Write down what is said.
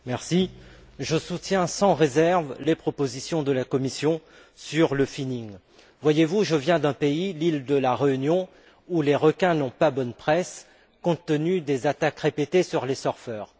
Monsieur le Président, je soutiens sans réserve les propositions de la Commission sur le Voyez vous, je viens de l'île de la Réunion, où les requins n'ont pas bonne presse, compte tenu des attaques répétées sur les surfeurs.